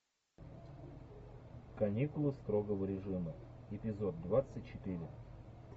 каникулы строгого режима эпизод двадцать четыре